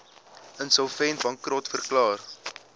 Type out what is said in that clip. insolvent bankrot verklaar